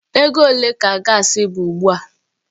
Ego ole ka gaasi bụ ugbu a?